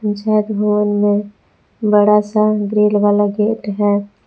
पंचायत भवन में बड़ा सा ग्रिल वाला गेट है।